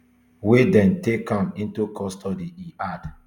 we den take am into custody e add